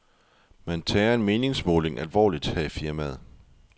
Man tager en meningsmåling alvorligt her i firmaet.